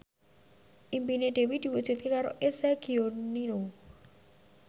impine Dewi diwujudke karo Eza Gionino